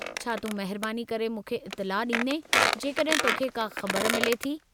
छा तूं महिरबानी करे मूंखे इतिला ॾींदें जेकॾहिं तोखे का ख़बर मिले थी?